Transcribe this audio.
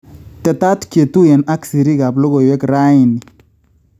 Tetat ketuyen ak siriik ap logoywek raini